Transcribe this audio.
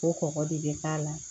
Ko kɔgɔ de bɛ k'a la